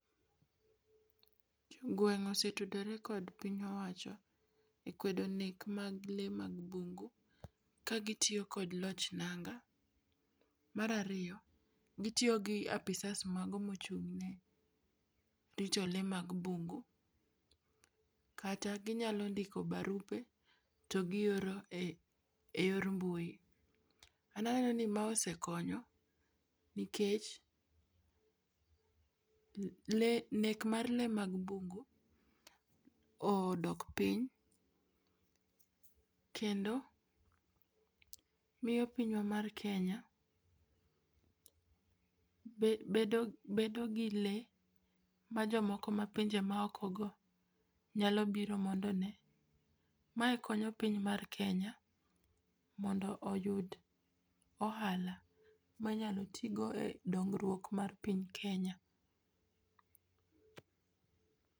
Gweng' osetudere kod piny owacho e kwedo nek mag lee mag bungu kagitio kod loch nanga. Marario, gitio gi apisas mago mochung'ne rito lee mag bungu, kata ginyalo ndiko barupe togioro e eyor mbui. Ananeno ni ma osekonyo nikech le nek mar lee mag bungu odok piny, kendo mio pinywa mar Kenya be bedo bedo gi lee majomoko mapinje maokogo nyalo biro mondo onee. Mae konyo piny mar Kenya mondo oyud ohala ma inyalo tiigo e dongrwuok mar piny mar Kenya.